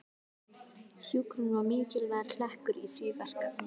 Hjúkrun var mikilvægur hlekkur í því verkefni.